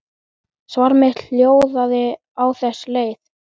Svar mitt hljóðaði á þessa leið